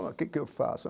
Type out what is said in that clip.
O que que eu faço?